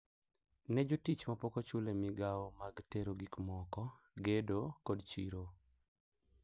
Ne jotich ma pok ochul e migao mag tero gikmoko, gedo, kod chiro.